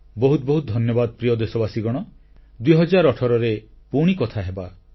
ବହୁତ ବହୁତ ଧନ୍ୟବାଦ ପ୍ରିୟ ଦେଶବାସୀଗଣ 2018ରେ ପୁଣି ମିଶିବା ଏବଂ କଥାହେବା